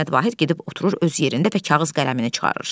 Səməd Vahid gedib oturur öz yerində və kağız qələmini çıxarır.